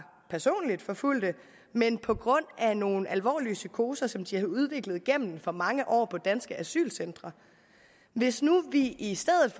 personligt forfulgte men på grund af nogle alvorlige psykoser som de havde udviklet gennem for mange år på danske asylcentre hvis nu vi i stedet